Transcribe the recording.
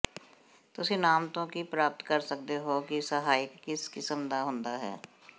ਤੁਸੀਂ ਨਾਮ ਤੋਂ ਕੀ ਪ੍ਰਾਪਤ ਕਰ ਸਕਦੇ ਹੋ ਕਿ ਸਹਾਇਕ ਕਿਸ ਕਿਸਮ ਦਾ ਹੁੰਦਾ ਹੈ